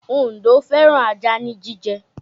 Òǹdó fẹ́ràn ajá ní jíjẹ